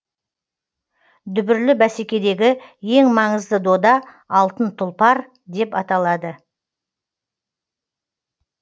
дүбірлі бәсекедегі ең маңызды дода алтын тұлпар деп аталады